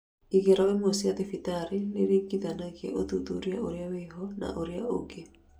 Igerio imwe cia thibitari nĩiringithanagia ũthuthuria ũrĩa wĩho na ũrĩa ũngĩ